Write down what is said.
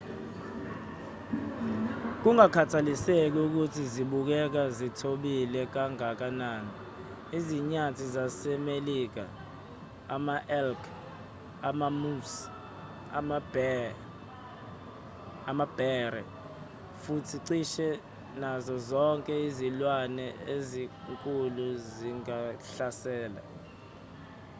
kungakhathaliseki ukuthi zibukeka zithobile kangakanani izinyathi zasemelika ama-elk ama-moose amabhere futhi cishe nazo zonke izilwane ezinkulu zingahlasela